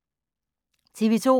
TV 2